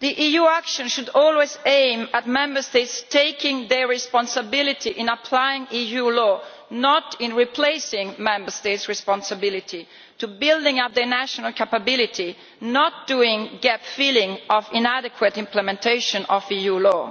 EU action should always aim at Member States taking their responsibility in applying EU law, not at replacing Member States' responsibility to build up the national capability, and not doing the gap filling of inadequate implementation of EU law.